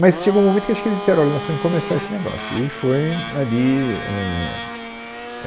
Mas chegou um momento que acho que eles disseram, olha nós temos que começar esse negócio. E foi ali, éh é